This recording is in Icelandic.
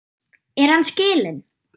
Er hann skilinn?